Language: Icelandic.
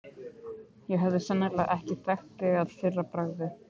Ég hefði sennilega ekki þekkt þig að fyrra bragði.